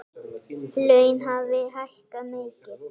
Laun hafi hækkað mikið.